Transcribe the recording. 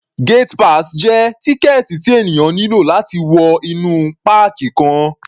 Gate pass jẹ́ tíkẹ̀ẹ̀tì tí ènìyàn nílò láti wọ inú páàkì kan.